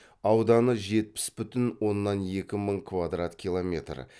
ауданы жетпіс бүтін оннан екі мың квадрат километр